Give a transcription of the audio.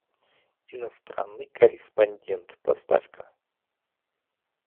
иностранный корреспондент поставь ка